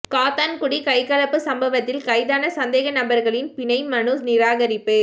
காத்தான்குடி கைகலப்புச் சம்பவத்தில் கைதான சந்தேக நபர்களின் பிணை மனு நிராகரிப்பு